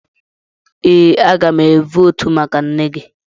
Ee, a ga m votu maka nne gị.